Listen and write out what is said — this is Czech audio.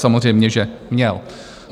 Samozřejmě že měl.